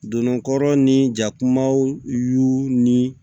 Donnɔgɔ kɔrɔ ni jakumaw y'u ni